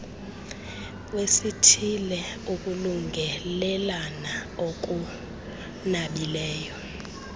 wesithile ukulungelelana okunabileyo